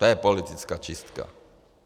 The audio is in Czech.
To je politická čistka.